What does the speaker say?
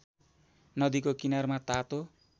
नदीको किनारमा तातो